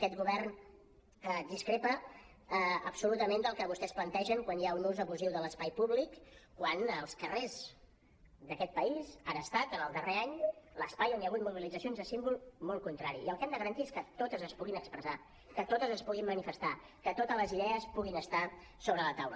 aquest govern discrepa absolutament del que vostès plantegen quan hi ha un ús abusiu de l’espai públic quan els carrers d’aquest país han estat en el darrer any l’espai on hi ha hagut mobilitzacions de símbol molt contrari i el que hem de garantir és que totes es puguin expressar que totes es puguin manifestar que totes les idees puguin estar sobre la taula